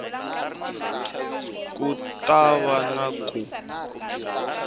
ku ta va na ku